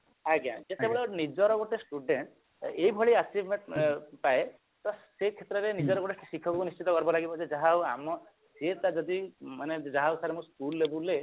ଆଜ୍ଞା ଯେତେବେଳେ ନିଜର ଗୋଟେ student ଏଇଭଳି achievement ପାଏ ତ ସେଇ କ୍ଷତ୍ରରେ ନିଜର ଗୋଟେ ଶିକ୍ଷକ ଉପରେ ନିଶ୍ଚିତ ଗର୍ବ ଲାଗିବ ଯେ ଯାହାହଉ ଆମ ସିଏ ତ ଯଦି ମାନେ ଯାହାହଉ sir ଆମ school label ରେ